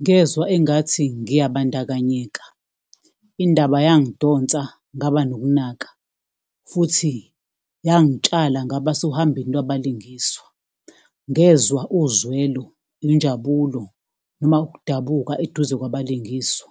Ngezwa engathi ngiyabandakanyeka. Indaba yangidonsa, ngaba nokunaka, futhi yangitsala, ngaba sohambeni lwabalingiswa. Ngezwa uzwelo nenjabulo, noma ukudabuka eduze kwabalingiswa.